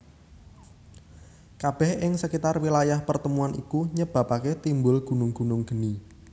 Kabeh ing sekitar wilayah pertemuan iku nyebabake timbul gunung gunung geni